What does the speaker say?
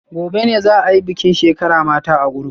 Gobe ​​ne za a yi bikin shekara mata group